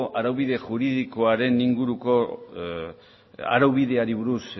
araubide juridikoaren inguruko araubideari buruz